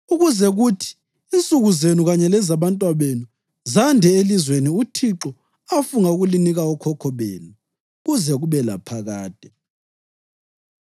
ukuze kuthi insuku zenu kanye lezabantwabenu zande elizweni uThixo afunga ukulinika okhokho benu, kuze kube laphakade.